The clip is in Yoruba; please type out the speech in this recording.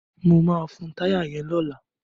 Mo máa fun táyà yẹn lọ́la.